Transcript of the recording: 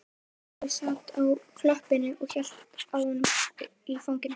Kobbi sat á klöppinni og hélt á honum í fanginu.